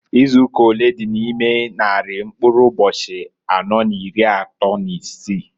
Izuụka olee dị n' ime nnarị mkụrụ ụbọchị anọọ n'iri atọọ n'isii?